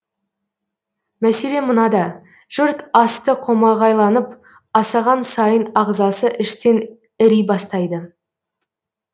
мәселе мынада жұрт асты қомағайланып асаған сайын ағзасы іштен іри бастайды